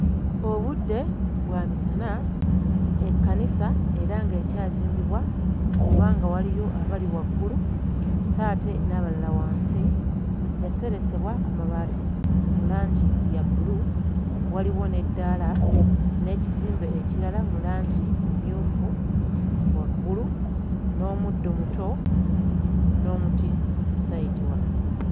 Obudde bwa misana, ekkanisa era ng'ekyazimbibwa kubanga waliyo abali waggulu sso ate era n'abalala wansi. Yaseresebwa amabaati mu langi ya bbulu waliwo n'eddaala n'ekizimbe ekirala mu langi mmyufu waggulu n'omuddo muto n'omuti sayidi wano.